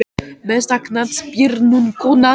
Besta knattspyrnukonan?